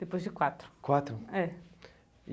Depois de quatro. Quatro? É.